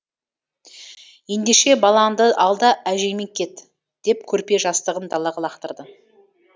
ендеше баланды ал да әжеңмен кет деп көрпе жастығын далаға лақтырды